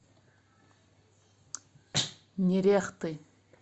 нерехты